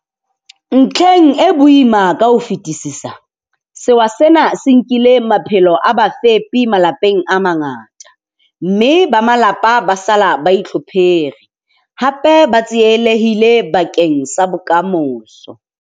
Ntlheng e boima ka ho fetisisa, sewa sena se nkile maphelo a bafepi malapeng a mangata, mme ba malapa ba sala ba itlhophere, hape ba tsielehille bakeng sa bokamoso.